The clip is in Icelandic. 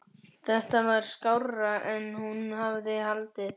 Þetta var skárra en hún hafði haldið.